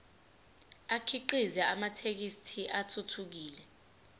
akhiqize amathekisthi athuthukile